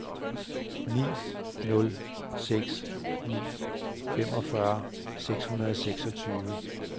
ni nul seks ni femogfyrre syv hundrede og seksogtyve